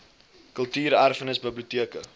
kultuur erfenis biblioteke